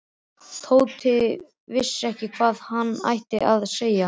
Tóti vissi ekki hvað hann ætti að segja.